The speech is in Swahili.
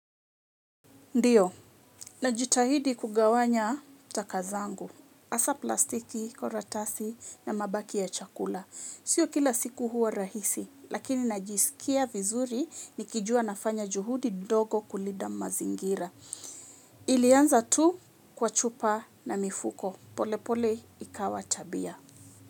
Ndiyo, najitahidi kugawanya taka zangu, hasa plastiki, karatasi na mabaki ya chakula. Sio kila siku huwa rahisi, lakini najisikia vizuri ni kijua nafanya juhudi dogo kulinda mazingira. Ilianza tu kwa chupa na mifuko. Polepole ikawa tabia.